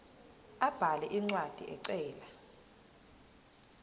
abhale incwadi ecela